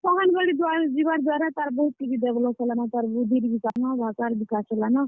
ଅଙ୍ଗେନବାଡି ଯିବାର୍ ଦ୍ୱାରା ତାର୍ ବହୁତ କିଛି develop ହେଲାନ, ତାର ବୁଦ୍ଧିର୍ ବିକାଶ୍ ହେଲାନ, ଭାଷାର୍ ବିକାଶ୍ ହେଲାନ।